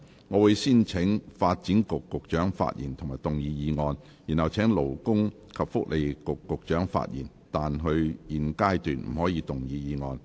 我會先請發展局局長發言及動議議案；然後請勞工及福利局局長發言，但他在現階段不可動議議案。